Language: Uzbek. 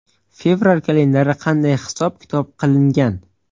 Fevral kalendari qanday hisob-kitob qilingan?